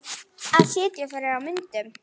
Að sitja fyrir á myndum?